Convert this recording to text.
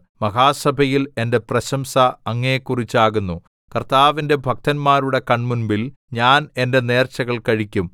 മഹാസഭയിൽ എന്റെ പ്രശംസ അങ്ങയെക്കുറിച്ചാകുന്നു കർത്താവിന്റെ ഭക്തന്മാരുടെ കൺമുമ്പിൽ ഞാൻ എന്റെ നേർച്ചകൾ കഴിക്കും